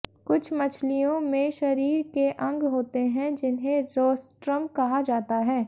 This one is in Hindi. कुछ मछलियों में शरीर के अंग होते हैं जिन्हें रोस्ट्रम कहा जाता है